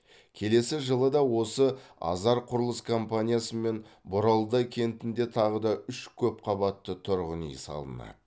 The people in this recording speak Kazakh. келесі жылы да осы азар құрылыс компаниясымен боралдай кентінде тағы да үш көп қабатты түрғын үй салынады